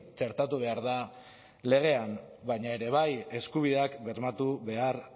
txertatu behar da legean baina ere bai eskubideak bermatu behar